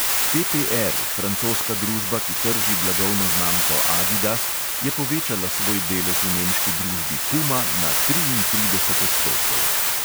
PPR, francoska družba, ki trži blagovno znamko adidas, je povečala svoj delež v nemški družbi puma na triintrideset odstotkov.